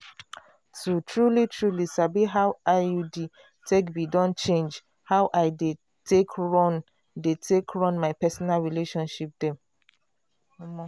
to truly-truly sabi how iud take be don change how i dey take run dey take run my personal relationship dem.